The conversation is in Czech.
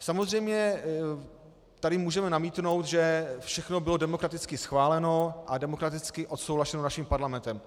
Samozřejmě tady můžeme namítnout, že všechno bylo demokraticky schváleno a demokraticky odsouhlaseno naším parlamentem.